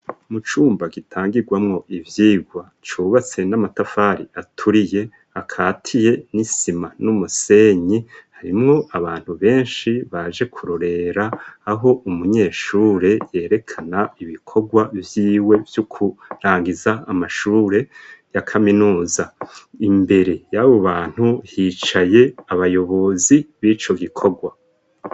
Mu cumba gitangigwamo ivyigwa cubatse n'amatafari aturiye akatiye n'isima n'umusenyi harimwo abantu benshi baje kurorera aho umunyeshure yerekana ibikorwa vyiwe vyo kurangiza amashure ya kaminuza imbere yabo bantu hicaye abayobozi b'ico gikogwa.